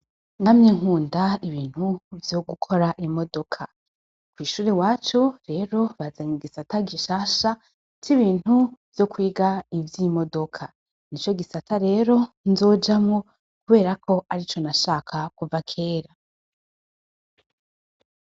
Namye nkunda ibintu vyogukora imodoka kw'ishuri iwacu rero bazanye igisata gishasha c'ibintu vyokwiga ivy'imodoka nico gisata rero nzojamwo kubera arico nashaka kuva kera.